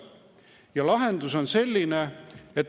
Ja lahendus on selline.